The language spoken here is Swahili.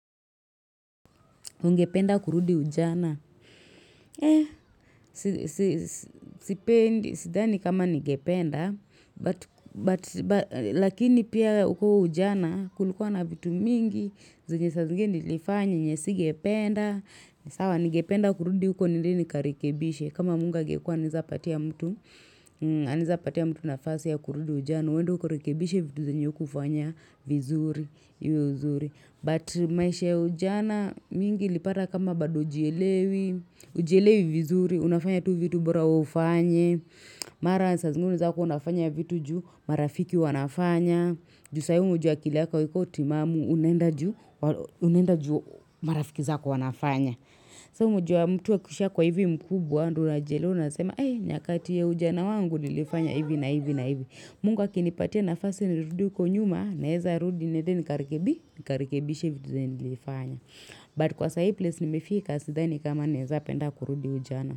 Ungependa kurudi ujana. Sipendi, sidhani kama ningependa, lakini pia huo ujana, kulikua na vitu mingi, zinye sa zingine nilifanya yenye singependa, sawa ningependa kurudi uko nilini karikebishe. Kama mungu angekua anaeza patia mtu, anaeza patia mtu nafasi ya kurudi ujana, uwende ukarekebishe vitu zenye hukufanya vizuri, iwe uzuri. But maisha ya ujana mingi ilipata kama bado ujielewi, ujielewi vizuri, unafanya tu vitu bora ufanye, mara sa zingine unaezakuwa unafanya vitu juu marafiki wanafanya, juu sa hii unajua akili yaka aiko timamu unenda juu marafiki zaku wanafanya. Sa unajua mtu akusha kuwa hivi mkubwa ndo unajielewa nasema nyakati ya ujana wangu nilifanya hivi na hivi na hivi Mungu akinipatia nafasi nirudi huko nyuma Naeza rudi niende nikarikebishe Nikarikebishe vitu zenye nilifanya But kwa sahi place nimefika Sidhani kama naeza penda kurudi ujana.